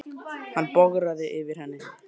Hann bograði yfir henni.